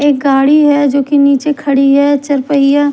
एक गाड़ी है जो कि नीचे खड़ी है चार पहिया--